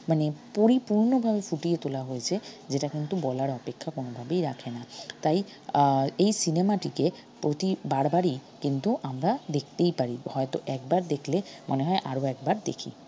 মানে পরিপূর্নভাবে ফুটিয়ে তোলা হয়েছে যেটা কিন্তু বলার অপেক্ষা কোনোভাবেই রাখে না তাই আহ এই cinema টিকে প্রতি বারবারই কিন্তু আমরা দেখতেই পারি হয়ত একবার দেখলে মনে হয় আরো একবার দেখি